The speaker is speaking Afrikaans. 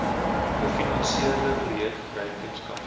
gefinansierde projekte rekenskap